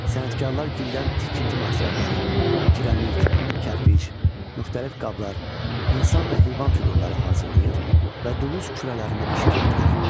Sənətkarlar gildən tikinti materialları, kiremit, kərpiş, müxtəlif qablar, insan və heyvan fiqurları hazırlayır və dulus kürələrində bişirirdilər.